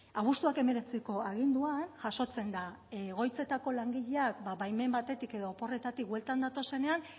abuztuak hemeretziko aginduan jasotzen da egoitzetako langileak baimen batetik edo oporretatik bueltan datozenean